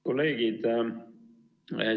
Kolleegid!